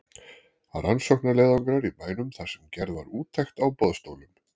Rannsóknarleiðangrar í bænum þar sem gerð var úttekt á boðstólum.